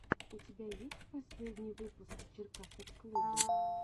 у тебя есть последний выпуск черкасовклуба